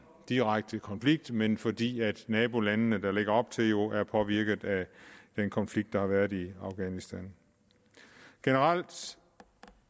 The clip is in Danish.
direkte konflikt men fordi nabolandene der ligger op til jo er påvirket af den konflikt der har været i afghanistan generelt